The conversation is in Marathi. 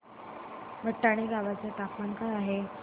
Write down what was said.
भटाणे गावाचे तापमान काय आहे